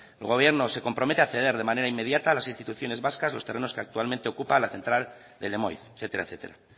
el gobierno se compromete a ceder de manera inmediata a las instituciones vascas los terrenos que actualmente ocupa la central de lemoiz etcétera